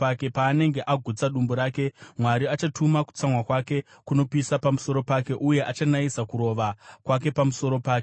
Paanenge agutsa dumbu rake, Mwari achatuma kutsamwa kwake kunopisa pamusoro pake, uye achanayisa kurova kwake pamusoro pake.